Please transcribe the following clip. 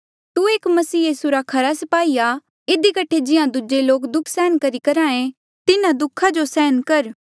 तू एक मसीह यीसू रा खरा स्पाही आ इधी कठे जिहां दूजे लोक दुःख सहन करही करहे तिहां तू भी तिन्हा दुःखा जो सहन कर